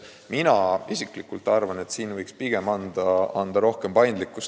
Mina isiklikult arvan, et siin võiks võimaldada rohkem paindlikkust.